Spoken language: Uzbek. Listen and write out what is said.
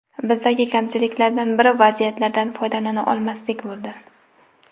Bizdagi kamchiliklardan biri vaziyatlardan foydalana olmaslik bo‘ldi.